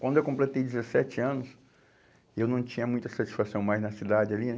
Quando eu completei dezessete anos, eu não tinha muita satisfação mais na cidade ali, né?